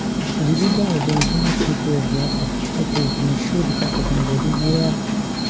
di leader of di indigenous people of biafra ipob bin show di part of im body wia